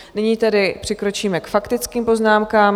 Nyní tedy přikročíme k faktickým poznámkám.